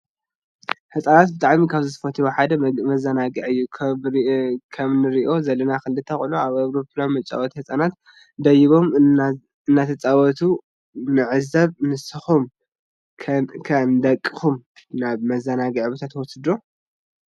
ህፃናት ብጣዕሚ ካብ ዝፈትውዎ ሓደ መዝንጋዕእዩ ።ከምንሪኦ ዘለና ክልተ ቆልዑ አብ አውሮፕላን መጫወቲ ህፃናት ደይቦም አናተፃወቱ ንዕዘብ ንስኩም ከንደቅኩም ናብ መዛናጊዕ ቦታ ትወስድዎም ዶ?